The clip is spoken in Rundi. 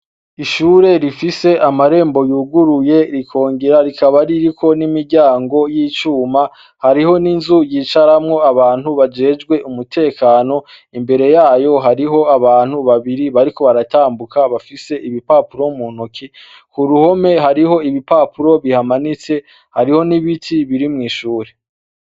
Ishure rifise amarembo yuguruye rikongera rikaba ririko imiryango y'icuma ,hariho n'inzu yicaramwo abantu bajejwe umutekano, imbere yayo hariho abantu babiri bariko baratambuka bafise ibipapuro mu ntoki, k'uruhome hariho ibipapuro bihamanitse, hariho n'ibiti biri mwishure.